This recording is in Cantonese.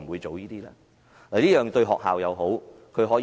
這樣做對學校也有好處。